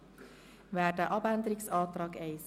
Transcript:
Ich stimme dem Antrag der FiKo-Minderheit zu.